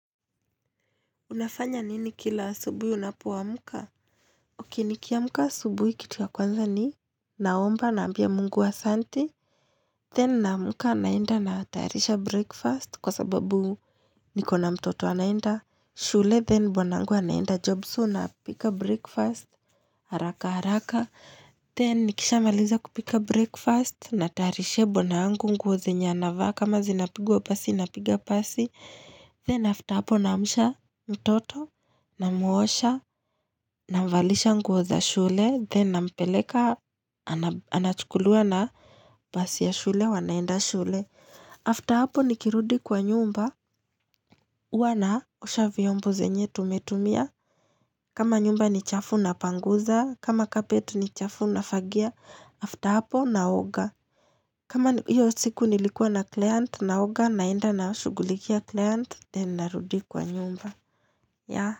Unafanya nini kila asubuhi unapo amka? Ok nikiamka asubuhi kitu ya kwanza ni? Naomba naambia mungu asanti. Then naamka naenda natayarisha breakfast kwa sababu niko na mtoto anaenda. Shule then bwanangu anaenda job so napika breakfast. Haraka haraka. Then nikisha maliza kupika breakfast natayarishia bwanangu nguo zenya anavaa kama zinapigwa pasi na piga pasi. Then after hapo naamsha mtoto. Namuosha, namvalisha nguo za shule Then nampeleka, anachukuliwa na basi ya shule, wanaenda shule After hapo nikirudi kwa nyumba huwa naosha vyombo zenye tumetumia kama nyumba ni chafu napanguza kama carpet ni chafu nafagia After hapo naoga kama hiyo siku nilikua na client naoga naenda nashugulikia client Then narudi kwa nyumba ya.